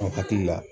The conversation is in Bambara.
An hakili la